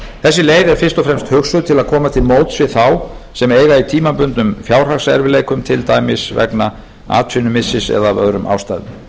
þessi leið er fyrst og fremst hugsuð til að koma til móts við þá sem eiga í tímabundnum fjárhagserfiðleikum til dæmis vegna atvinnumissis eða af öðrum ástæðum